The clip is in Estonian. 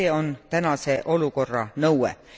See on tänase olukorra nõue.